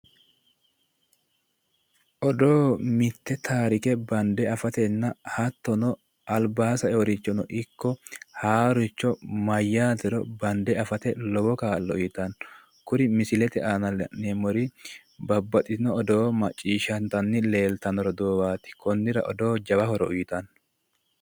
Odoo mitte taarike bande afatenna hattono albaa saeyorichono ikko haaroricho mayyatero bande afate lowo kaa'lo uyitanno. Kuri misilete aana la'neemmori babbaxxino odoo macciishshantanni leeltanno roduuwwaati. Konnira odoo jawa horo uyitanno.